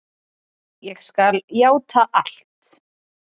Ég skal játa allt.